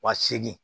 Wa segin